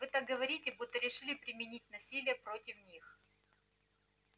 вы так говорите будто решили применить насилие против них